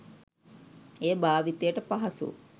එය භාවිතයට පහසු